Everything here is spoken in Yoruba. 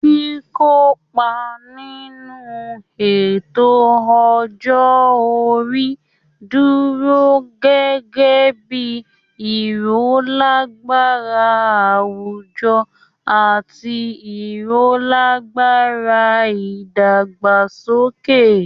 Kíkópa nínú ètò ọjọ́ orí dúró gẹ́gẹ́ bí i irolagbara àwùjọ àti irolagbara ìdàgbàsókè